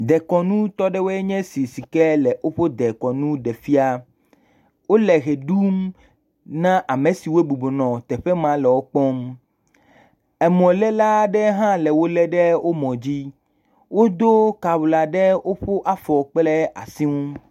Dekɔnu tɔɖewoe nye esi wole woƒe dekɔnu ɖe fia. Wole he ɖu na ame siwo bubɔnɔ teƒe ma le wokpɔ. Emɔ le la aɖe hã le wole ɖe wo mɔ dzi. Wodo kawla ɖe woƒeafɔ kple asi ŋu.